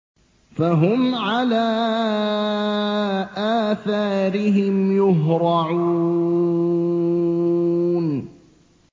فَهُمْ عَلَىٰ آثَارِهِمْ يُهْرَعُونَ